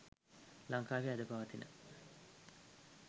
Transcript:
ලංකාවේ අද පවතින